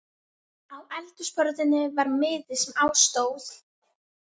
Á eldhúsborðinu var miði, sem á stóð